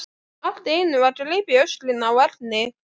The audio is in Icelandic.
Allt í einu var gripið í öxlina á Erni.